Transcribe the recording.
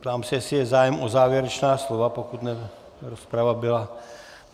Ptám se, jestli je zájem o závěrečná slova, pokud ta rozprava byla...